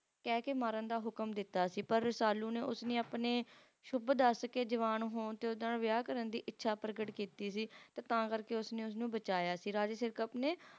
ਕਹਿਕੇ ਮਾਰਨ ਦਾ ਹੁਕਮ ਦਿੱਤਾ ਸੀ ਪਰ Rasalu ਨੇ ਉਸਨੇ ਆਪਣੇ ਸ਼ੁੱਭ ਦੱਸਕੇ ਜਵਾਨ ਹੋਣ ਤੇ ਉਸ ਨਾਲ ਵਿਆਹ ਕਰਨ ਦੀ ਇੱਛਾ ਪ੍ਰਗਟ ਕੀਤੀ ਸੀ ਤਾਂ ਕਰਕੇ ਉਸਨੇ ਉਸਨੂੰ ਬਚਾਇਆ ਸੀ Raja Sirkap ਨੇ